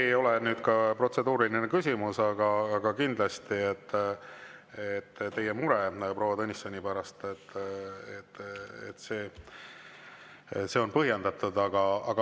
See ei olnud protseduuriline küsimus, aga kindlasti teie mure proua Tõnissoni pärast on põhjendatud.